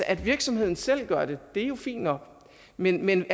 at virksomheden selv gør det er jo fint nok men men